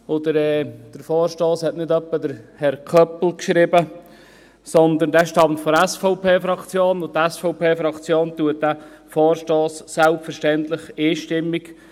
Der Vorstoss hat nicht etwa Herr Köppel geschrieben, sondern er stammt von der SVP-Fraktion, und selbstverständlich unterstützt die SVP-Fraktion diesen Vorstoss einstimmig.